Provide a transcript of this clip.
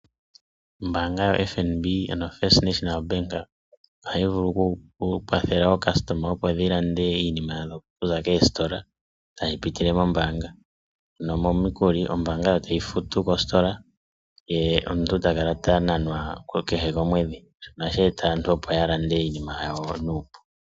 Ombanga yo FNB , ano ombanga yotango yopashigwana, ohayi vulu oku kwathela ayakulwa yawo, oku landa iinima okuza koostola oku pitila mombanga ano momikukilu, ombanga yo tayi futu kostola, ye omuntu takala ta nanwa kehe komwedhi, nashika ohashi eta aantu opo ya lande iinima yawo nuupu.